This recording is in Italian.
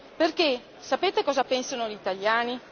Perché, sapete cosa pensano gli italiani?